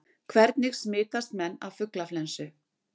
Hvernig smitast menn af fuglaflensu?